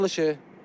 Açılışı.